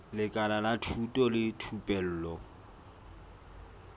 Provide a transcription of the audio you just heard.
lekala la thuto le thupelo